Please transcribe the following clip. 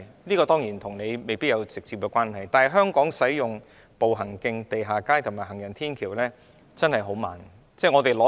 這方面與局長未必有直接關係，但香港建設步行徑、地下街及行人天橋的步伐實在相當緩慢。